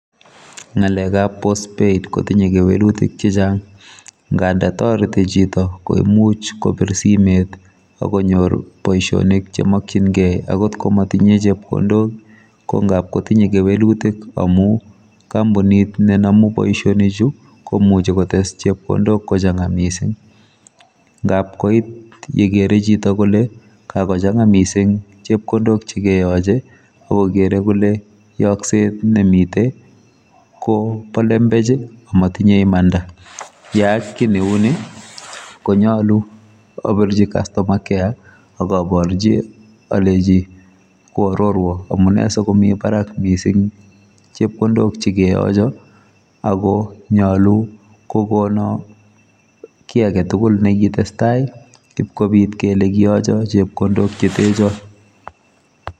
Ngalekab post paid kotinye kewelutik chechang nganda toreti chito koimuch kobir simet akonyor boisionik chemokyingei angot komatinye chepkondok kongap kotinye kewelutik amu kampunit nenamu boisionichu komuchi kotes chepkondok kochanga mising yapkoit yekere chito kole kakochanga mising chepkondok chekeyoche akokere kole yokset nemite kobolembech amatinye imanda yeaak ki neuni, konyalu abirchi customer care akaborchi aleji koarorwo kolenjo amune asikomi barak mising chepkondok chekeyocho akonyalu kokono ki aketugul nekitestai ibkobit kele kiyocho chepkondo chete chot